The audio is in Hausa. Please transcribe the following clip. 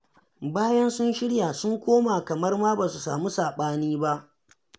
Bayan sun shirya, sun koma kamar ma ba su samu saɓani ba